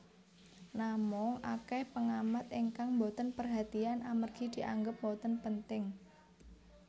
Namung akèh péngamat ingkang mbotén pérhatian amérgi dianggép mbotén pénting